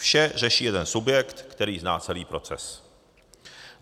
Vše řeší jeden subjekt, který zná celý proces.